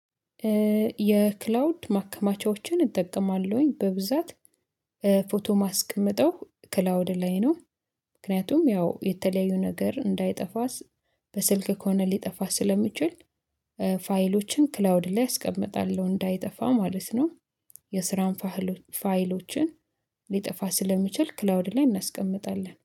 የክላውድ ማከማቻዎችን እጠቀማለሁኝ በብዛት ፎቶ ማስቀምጠው ክላውድ ላይ ነው። ምክንያቱም ያው የተለያዩ ነገር እንዳይጠፋስ በስልክ ከሆነ ሊጠፋ ስለሚችል ፋይሎችን ክላውድ ላይ አስቀምጣለው እንዳይጠፋ ማለት ነው። የስራን ፋህሎች ፋይሎችን ሊጠፋ ስለሚችል ክላውድ ላይ እናስቀምጣለን።